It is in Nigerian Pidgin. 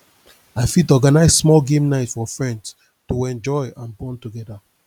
i fit organize small game night for friends to enjoy and bond together